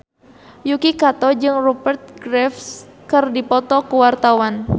Yuki Kato jeung Rupert Graves keur dipoto ku wartawan